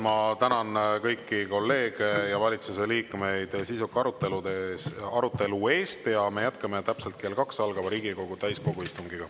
Ma tänan kõiki kolleege ja valitsuse liikmeid sisuka arutelu eest ja me jätkame täpselt kell kaks algava Riigikogu täiskogu istungiga.